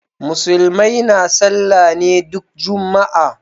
Musulmai na sallah ne duk juma'a.